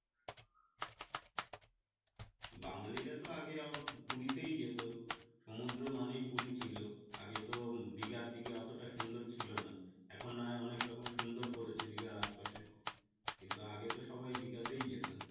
বাঙালিরা তো আগে পুরিতেই যেতো সমুদ্র মানে পুরি ছিলো আগে তো দীঘার দিকে অতো সুন্দর ছিলো না এখন না হয় অনেক রকম সুন্দর করেছে দীঘার আশপাশে কিন্তু আগে তো সবাই দীঘাতেই যেত